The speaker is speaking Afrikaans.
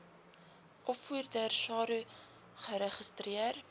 opvoeders saro geregistreer